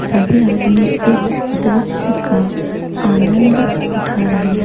सभी आदमी इस दृश्य का आनंद उठा रहे हैं।